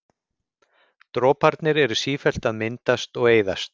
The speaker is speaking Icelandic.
Droparnir eru sífellt að myndast og eyðast.